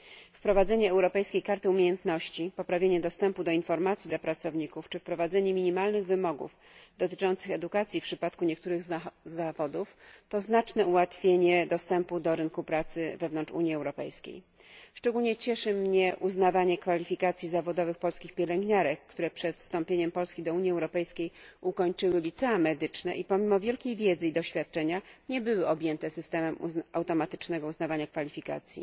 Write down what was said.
Wprowadzenie europejskiej karty umiejętności, poprawienie dostępu do informacji dla pracowników czy wprowadzenie minimalnych wymogów dotyczących edukacji w przypadku niektórych zawodów to znaczne ułatwienie dostępu do rynku pracy wewnątrz Unii Europejskiej. Szczególnie cieszy mnie uznawanie kwalifikacji zawodowych polskich pielęgniarek, które przed wstąpieniem Polski do Unii Europejskiej ukończyły licea medyczne i pomimo wielkiej wiedzy i doświadczenia nie były objęte systemem automatycznego uznawania kwalifikacji.